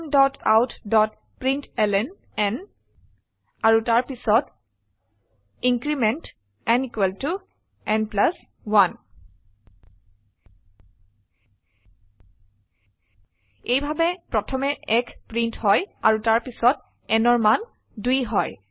systemoutপ্ৰিণ্টলন আৰু তাৰপিছত increment n n 1 এইভাবে প্ৰথমে 1 প্ৰিন্ট হয় আৰু তাৰপিছত nঅৰ মান 2 হয়